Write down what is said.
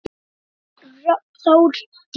Þín Þórdís.